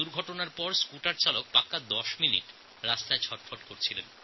দুর্ঘটনার পরে এক স্কুটার চালক ১০ মিনিট ধরে পড়ে ছটফট করছেন